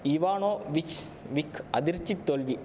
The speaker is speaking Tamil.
இவானோவிச் விக் அதிர்ச்சி தோல்வி